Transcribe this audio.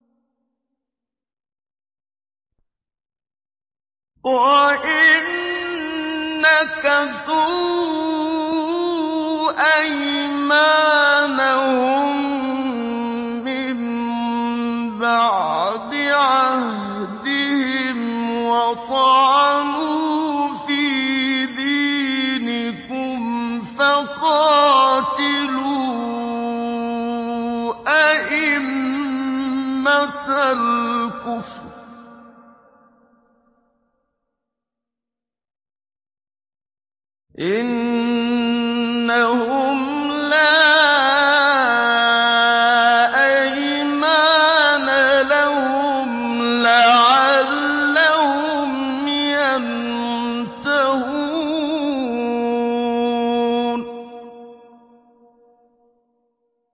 وَإِن نَّكَثُوا أَيْمَانَهُم مِّن بَعْدِ عَهْدِهِمْ وَطَعَنُوا فِي دِينِكُمْ فَقَاتِلُوا أَئِمَّةَ الْكُفْرِ ۙ إِنَّهُمْ لَا أَيْمَانَ لَهُمْ لَعَلَّهُمْ يَنتَهُونَ